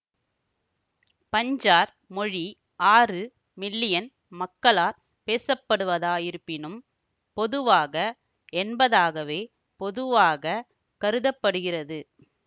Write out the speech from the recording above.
பஞ்சார் மொழி ஆறு மில்லியன் மக்களாற் பேசப்படுவதாஇருப்பினும் பொதுவாக என்பதாகவே பொதுவாக கருத படுகிறது